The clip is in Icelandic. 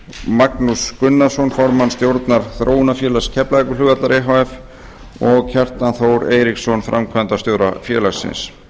magnús gunnarsson formann stjórnar þróunarfélags keflavíkurflugvallar e h f og kjartan þór eiríksson framkvæmdastjóra þróunarfélagsins